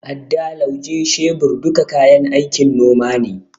Adda, Lauje, shebir duka kayan aikin noma ne.